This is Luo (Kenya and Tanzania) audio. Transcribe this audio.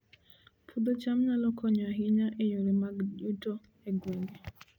Puodho cham nyalo konyo ahinya e yore mag yuto e gwenge